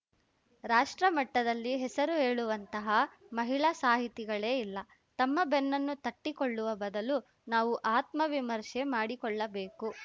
ರಾಷ್ಟ್ರಮಟ್ಟದಲ್ಲಿ ಹೆಸರು ಹೇಳುವಂತಹ ಮಹಿಳಾ ಸಾಹಿತಿಗಳೇ ಇಲ್ಲ ತಮ್ಮ ಬೆನ್ನನ್ನು ತಟ್ಟಿಕೊಳ್ಳುವ ಬದಲು ನಾವು ಆತ್ಮವಿಮರ್ಶೆ ಮಾಡಿಕೊಳ್ಳಬೇಕು